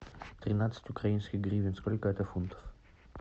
тринадцать украинских гривен сколько это фунтов